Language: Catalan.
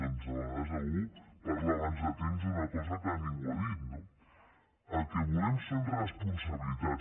doncs de vegades algú parla abans de temps d’una cosa que ningú ha dit no el que volem són responsabilitats